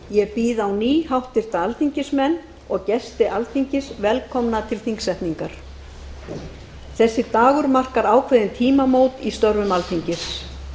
ég býð á ný háttvirtir alþingismenn og gesti alþingis velkomna til þingsetningar þessi dagur markar ákveðin tímamót í störfum alþingis